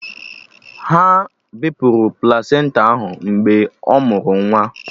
Ha bepụrụ plasenta ahụ mgbe ọ mụrụ nwa